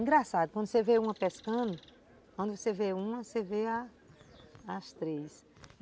Engraçado, quando você vê uma pescando, quando você vê uma, você vê a as três.